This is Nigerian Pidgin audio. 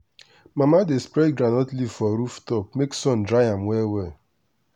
mama dey spread groundnut leaf for roof top make sun dry am well well.